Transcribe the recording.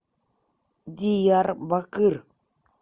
диярбакыр